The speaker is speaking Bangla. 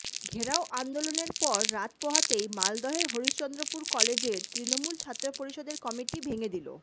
ঘেরাও আন্দোলনের পর রাত পোহাতেই মালদহের হরিশ্চন্দ্রপুর কলেজের তৃণমূল ছাত্র পরিষদের কমিটি ভেঙে দিল